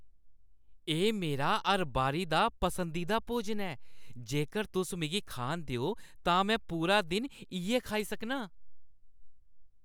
एह् मेरा हर बारी दा पसंदीदा भोजन ऐ, जेकर तुस मिगी खान देओ, तां में पूरा दिन इʼयै खाई सकनां।